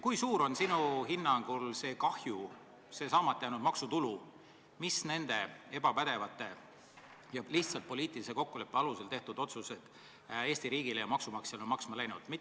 Kui suur on sinu hinnangul see kahju, see saamata jäänud maksutulu, mis need ebapädevad ja lihtsalt poliitilise kokkuleppe alusel tehtud otsused Eesti riigile ja maksumaksjale maksma on läinud?